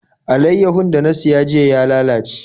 Alaiyahun da na siya jiya ya lalace.